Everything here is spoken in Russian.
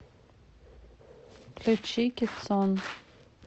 включи кецон